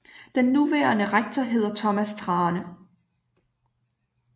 Den nuværende rektor hedder Thomas Thrane